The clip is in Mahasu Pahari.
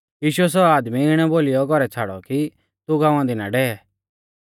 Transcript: यीशुऐ सौ आदमी इणै बोलीयौ घौरै छ़ाड़ौ कि तू गाँवा दी ना डेवै